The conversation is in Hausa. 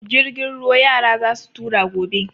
Jirgin ruwa yara za su tura gobe.